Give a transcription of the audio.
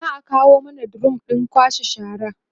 za'a kawo mana drum ɗin kwashe shara